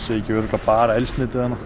ekki örugglega bara eldsneyti þarna